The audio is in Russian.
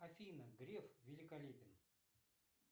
афина греф великолепен